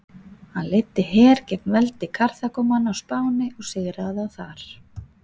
Hann leiddi her gegn veldi Karþagómanna á Spáni og sigraði þá þar.